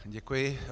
Děkuji.